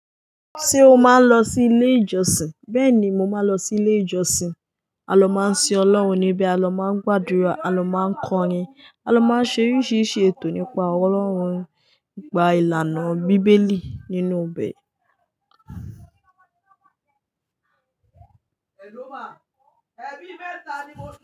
Ṣé o máa ń lọ sí ilé ìjọsìn? Bẹ́ẹ̀ ni mo máa ń lọ sí ilé ìjọsìn. A ló máa ń sin Ọlọ́run níbí, a ló máa ń gbàdúrà, a ló máa ń kọrin, a ló máa ń ṣe oríṣiríṣi ètò nípa Ọlọ́run, nípa ìlànà Bíbélì nínú bẹ̀.